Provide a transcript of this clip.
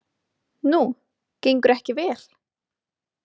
Nú, gengur ekki vel?